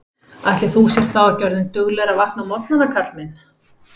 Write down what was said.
Ætli þú sért þá ekki orðinn duglegri að vakna á morgnana, Karl minn